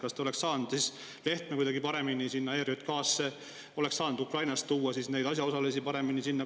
Kas te oleks saanud Lehtme kuidagi paremini sinna ERJK‑sse, oleks saanud Ukrainast tuua neid asjaosalisi paremini sinna?